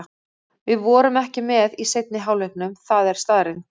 Við vorum ekki með í seinni hálfleiknum, það er staðreynd.